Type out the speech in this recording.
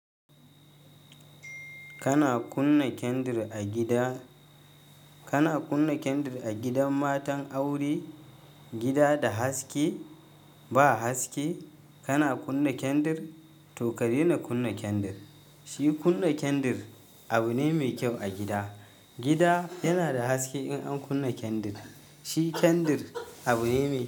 Kana kunna kyandir a gida, kana kunna kyandir a gidan matan aure, gida da haske, ba haske, kana kunna kyandir, to ka daina kunna kyandir. Shi kunna kyandir abu ne mai kyau a gida. Gida yana da haske in an kunna kyandir. Shi kyandir abu ne mai.